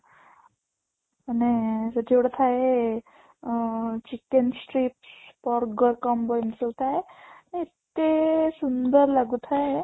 ମାନେ ସେଠି ଗୋଟେ ଥାଏ ଅଂ chicken strip burger combo ଏମିତି ସବୁ ଥାଏ ଏତେ ସୁନ୍ଦର ଲାଗୁଥାଏ